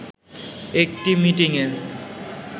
একটি মিটিংয়ে